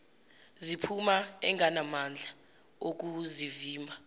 ziphuma engenamandla okuzivimba